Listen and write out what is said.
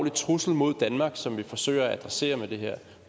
trussel mod danmark som vi forsøger at adressere med det her